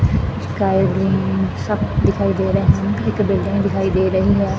Sky green ਸਭ ਦਿਖਾਈ ਦੇ ਰਹੇ ਹਨ ਇੱਕ ਬਿਲਡਿੰਗ ਦਿਖਾਈ ਦੇ ਰਹੀ ਹੈ।